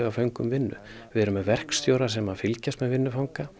föngum vinnu við erum með verkstjóra sem fylgjast með vinnu fanga